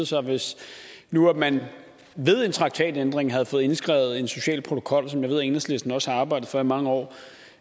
sig hvis nu man ved en traktatændring havde fået indskrevet en social protokol som jeg ved enhedslisten også har arbejdet for i mange år